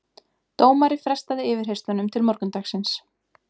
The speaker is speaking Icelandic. Dómari frestaði yfirheyrslunum til morgundagsins